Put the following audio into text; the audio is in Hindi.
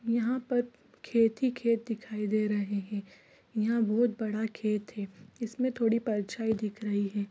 यहाँ पर खेत ही म्खेत दिखाई दे रहे हे यहाँ रोड बना खेत हे इउस में बहुत बड़ा खेत हे इसमें थोड़ी परछाई दिख रही है